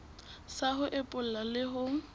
sa ho epolla le ho